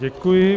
Děkuji.